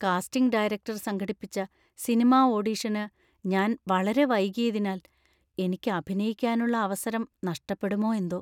Casting director സംഘടിപ്പിച്ച cinema ഓഡിഷന് ഞാൻ വളരെ വൈകിയതിനാൽ എനിക്ക് അഭിനയിക്കാനുള്ള അവസരം നഷ്ടപ്പെടുമോ എന്തോ.